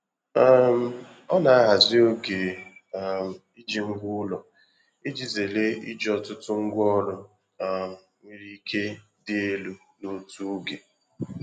um Ọ na-ahazi oge um iji ngwa ụlọ iji zere iji ọtụtụ ngwaọrụ um nwere ike dị elu n'otu oge.